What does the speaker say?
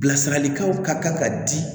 Bilasiralikanw ka kan ka di